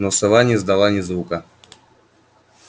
но сова не издала ни звука